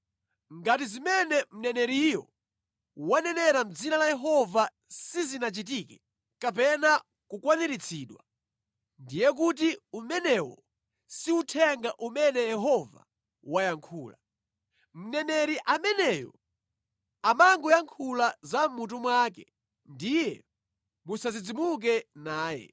Ngati zimene mneneriyo wanenera mʼdzina la Yehova sizinachitike kapena kukwaniritsidwa, ndiye kuti umenewo si uthenga umene Yehova wayankhula. Mneneri ameneyo amangoyankhula za mʼmutu mwake ndiye musadzidzimuke naye.